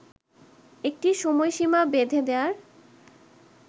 একটি সময়সীমা বেঁধে দেয়ার